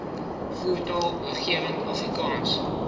voertaal oorwegend afrikaans